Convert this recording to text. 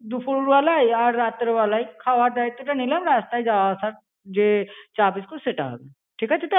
দুপুরবেলায় আর রাত্রেবেলায় খাবার দায়িত্বটা নিলাম রাস্তায় যাওয়া আসা যে চা বিস্কুট সেটা হবে ঠিক আছে তাহলে.